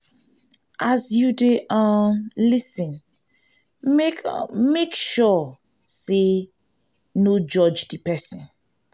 as you de um lis ten make [um]make sure say no judge di persin